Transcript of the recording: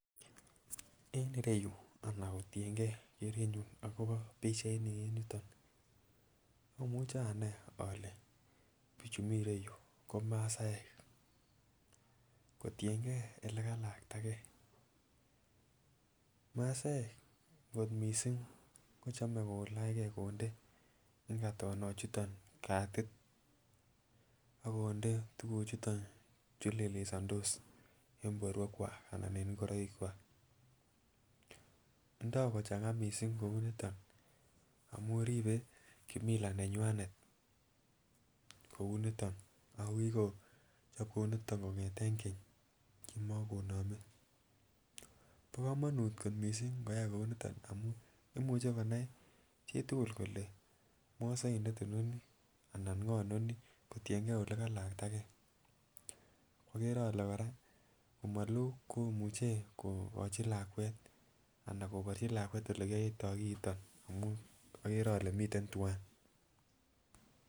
En ireyuu anan kotiyengee kerenyun akobo pichainiton en ireyuu omuche anai ole bichu miten ireyuu ko masaek kotiyengee ole kalakta gee. Masaek kot missing kochome kilachgee konde inkatonok chuton katik ak konde tukuk choton chulelesondos en borwek kwak anan en ingoroik kwak. Ndio kochanga missing kou niton amun ribe kimila nenywanet kou niton ako kikochob kouniton kongeten Keny kimokonome . Bo komonut ko missing nkoyai kouniton amun imuche konai chitukul kole mosoidet inoni anan ngoo noni kotiyengee ole kalakta gee, okere ole Koraa komoloo komuche kokochi lakwet anan koborchi lakwet olekiyoito kiiton amun okere ole miten twan.